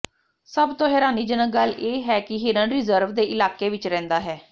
ਸਭ ਤੋਂ ਹੈਰਾਨੀਜਨਕ ਗੱਲ ਇਹ ਹੈ ਕਿ ਹਿਰਨ ਰਿਜ਼ਰਵ ਦੇ ਇਲਾਕੇ ਵਿਚ ਰਹਿੰਦਾ ਹੈ